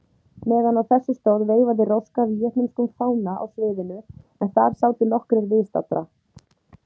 Meðan á þessu stóð veifaði Róska víetnömskum fána á sviðinu, en þar sátu nokkrir viðstaddra.